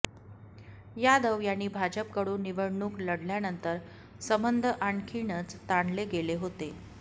यादव यांनी भाजपकडून निवडणूक लढल्यानंतर संबध आणखीनच ताणले गेले होते